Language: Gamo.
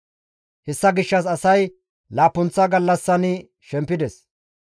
Hessa gishshas asay laappunththa gallassan shempides.